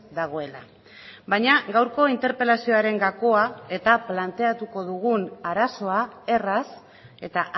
dagoela baina gaurko interpelazioaren gakoa eta planteatuko dugun arazoa erraz eta